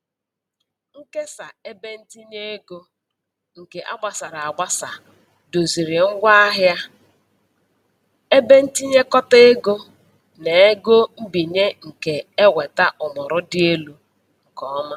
Nkesa ebentinyeego nke a gbasara agbasa doziri ngwaahịa, ebe ntinyekọta ego, na ego mbinye nke eweta ọmụrụ dị elu nke ọma.